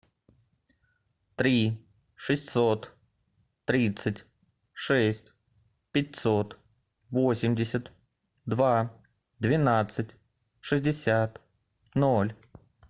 три шестьсот тридцать шесть пятьсот восемьдесят два двенадцать шестьдесят ноль